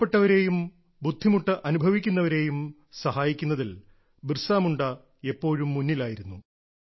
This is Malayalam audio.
പാവപ്പെട്ടവരെയും ബുദ്ധിമുട്ട് അനുഭവിക്കുന്നവരെയും സഹായിക്കുന്നതിൽ ബിർസ മുണ്ട എപ്പോഴും മുന്നിലായിരുന്നു